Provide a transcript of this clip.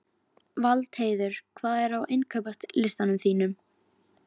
Valdheiður, hvað er á innkaupalistanum mínum?